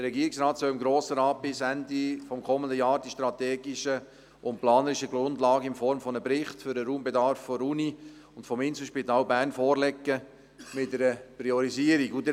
Der Regierungsrat soll dem Grossen Rat bis Ende des kommenden Jahres die strategischen und planerischen Grundlagen in Form eines Berichts für den Raumbedarf der Universität und des Inselspitals Bern mit einer Priorisierung vorlegen.